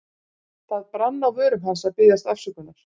Það brann á vörum hans að biðjast afsökunar.